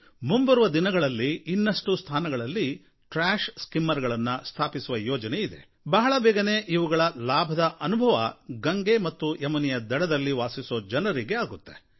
ಮುಂಬರುವ ದಿನಗಳಲ್ಲಿ ಇನ್ನಷ್ಟು ಸ್ಥಾನಗಳಲ್ಲಿ ಟ್ರ್ಯಾಷ್ ಸ್ಕಿಮ್ಮರ್ ಗಳನ್ನು ಸ್ಥಾಪಿಸುವ ಯೋಜನೆ ಇದೆ ಬಹಳ ಬೇಗನೇ ಇವುಗಳ ಲಾಭದ ಅನುಭವ ಗಂಗೆ ಮತ್ತು ಯಮುನೆಯ ದಡದಲ್ಲಿ ವಾಸಿಸುವ ಜನರಿಗೆ ಆಗುತ್ತೆ